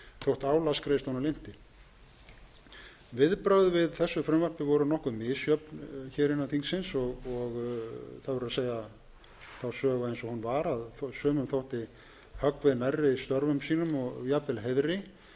þótt álagsgreiðslunum linnti viðbrögð við þessu frumvarpi voru nokkuð misjöfn hér innan þingsins og það verður að segja þá sögu eins og hún var að sumum þótti höggvið nærri störfum sínum og jafnvel heiðri